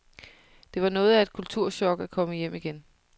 Det var noget af et kulturchok at komme hjem igen.